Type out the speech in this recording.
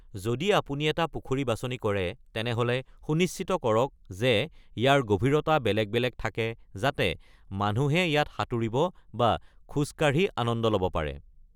যদি আপুনি এটা পুখুৰী বাচনি কৰে, তেনেহ'লে সুনিশ্চিত কৰক যে ইয়াৰ গভীৰতা বেলেগ বেলেগ থাকে যাতে মানুহে ইযাত সাঁতুৰি বা খোজ কাঢ়ি আনন্দ ল'ব পাৰে।